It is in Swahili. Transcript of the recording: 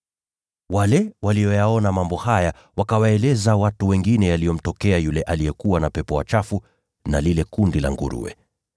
Wale walioyaona mambo hayo wakawaeleza watu wengine yaliyomtokea yule mtu aliyekuwa amepagawa na pepo wachafu, na habari za lile kundi la nguruwe pia.